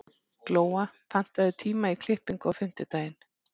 Glóa, pantaðu tíma í klippingu á fimmtudaginn.